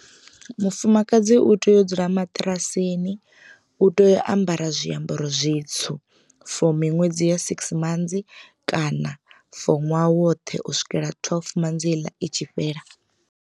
Mufumakadzi u tea u dzula maṱirasini u tea u ambara zwiambaro zwitswu for miṅwedzi ya six months kana for ṅwaha woṱhe u swikela twelve manzi heiḽa i tshi fhela.